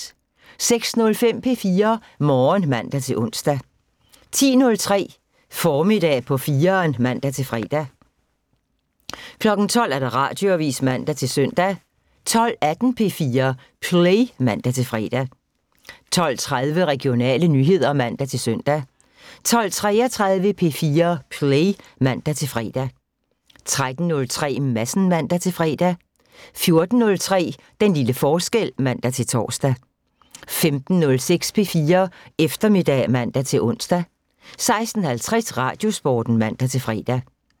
06:05: P4 Morgen (man-ons) 10:03: Formiddag på 4'eren (man-fre) 12:00: Radioavisen (man-søn) 12:18: P4 Play (man-fre) 12:30: Regionale nyheder (man-søn) 12:33: P4 Play (man-fre) 13:03: Madsen (man-fre) 14:03: Den lille forskel (man-tor) 15:06: P4 Eftermiddag (man-ons) 16:50: Radiosporten (man-fre)